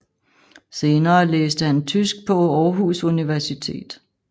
Senere læste han tysk på Aarhus Universitet